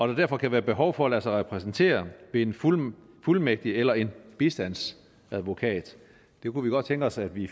der derfor kan være behov for at lade sig repræsentere ved en fuldmægtig fuldmægtig eller en bistandsadvokat det kunne vi godt tænke os at vi